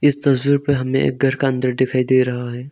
इस तस्वीर पर हमें एक घर का अंदर दिखाई दे रहा है।